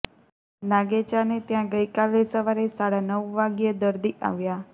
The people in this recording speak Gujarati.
નાગેચાને ત્યા ગઇકાલે સવારે સાડા નવ વાગ્યે દરદી આવ્યા